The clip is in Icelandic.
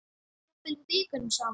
Jafnvel vikunum saman.